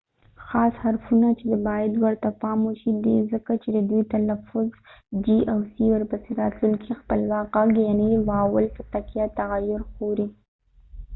خاص حرفونه چې باید ورته پام وشي c او g دي ځکه چې د دوی تلفظ ورپسې راتلونکي خپلواک غږ یعني واول په تکیه تغیر خوري